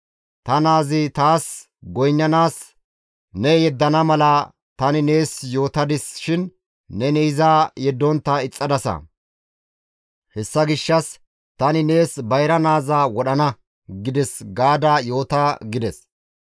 Ta naazi taas goynnanaas ne yeddana mala tani nees yootadis shin neni iza yeddontta ixxadasa; hessa gishshas, ‹Tani nees bayra naaza wodhana› gides gaada yoota» gides.